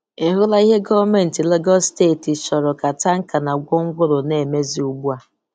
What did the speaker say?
Ị hụla ihe gọọmentị Lagos Steeti chọrọ ka tanka na gwongworo na-emezi ugbua?